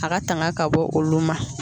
A ka tanga ka bɔ olu ma.